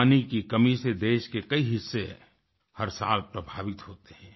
पानी की कमी से देश के कई हिस्से हर साल प्रभावित होते हैं